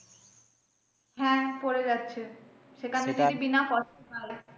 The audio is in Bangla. হ্যাঁ পড়ে যাচ্ছে সেখানে যদি বিনা